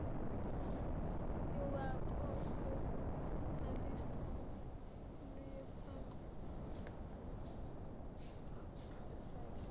lwakho lokubhalisa luyofakwa